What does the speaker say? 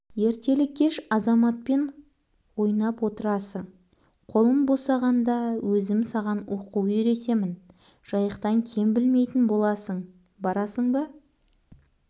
ертелі-кеш азаматпен ойнап отырасың қолым босағаңда өзім саған оқу үйретемін жайықтан кем білмейтін боласың барасың ба